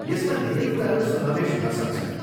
यसमा धेरै कुराहरू समावेश हुन सक्छन्।